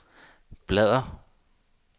bladr